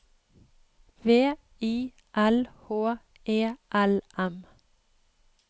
V I L H E L M